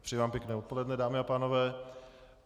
Přeji vám pěkné odpoledne, dámy a pánové.